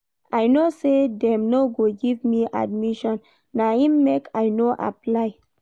I no sey dem no go give me admission na im make I no apply.